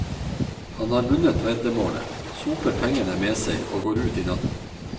Han har vunnet veddemålet, soper pengene med seg og går ut i natten.